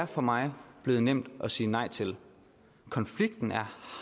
for mig er blevet nemt at sige nej til konflikten er